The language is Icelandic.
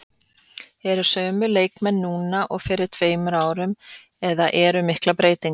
Eru sömu leikmenn núna og fyrir tveimur árum eða eru miklar breytingar?